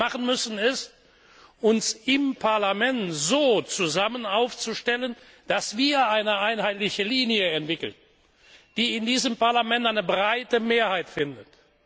Was wir machen müssen, ist, uns im Parlament so zusammen aufzustellen, dass wir eine einheitliche Linie entwickeln, die in diesem Parlament eine breite Mehrheit findet.